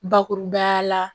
Bakurubaya la